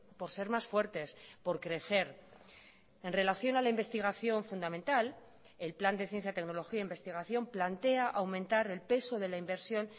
por ser más fuertes por crecer en relación a la investigación fundamental el plan de ciencia tecnología e investigación plantea aumentar el peso de la inversión